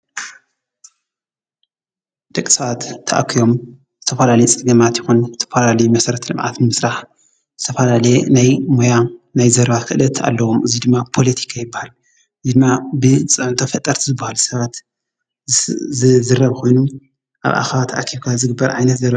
ድቂሰባት ተኣኪቦም ዝተፈላለዮ ፀገማት ይኾኑ ተፈላል መሠረት ልምኣት ምስራሕ ተፈላለየ ናይ ሞያ ናይ ዘረባ ኽደት ኣለዎም እዙይ ድማ ፖሎቲካ ይበሃል እዚይ ድማ ብጸመንተ ፈጠርቲ ዝብሃል ሰባት ዝዝረብ ኾኑ ኣብ ኣኻባ ተኣኪቦም ዝግበር እዮ።